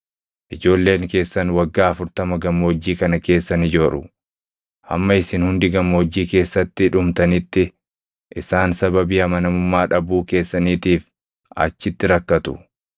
Ijoolleen keessan waggaa afurtama gammoojjii kana keessa ni jooru; hamma isin hundi gammoojjii keessatti dhumtanitti isaan sababii amanamummaa dhabuu keessaniitiif achitti rakkatu.